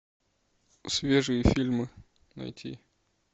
свежие фильмы найти